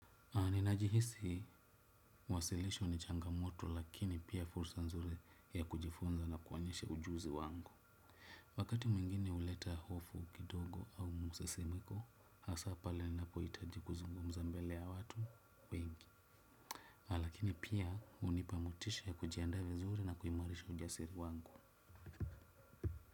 Ninajihisi, mwasilisho ni changamoto lakini pia fursa nzuri ya kujifunza na kuonyeshe ujuzi wangu. Wakati mwingine huleta hofu kidogo au musesimiko, hasa pale ninapo hitaji kuzungumza mbele ya watu wengi. Lakini pia hunipa motisha ya kujiandaa vizuri na kuimarisha ujasiri wangu.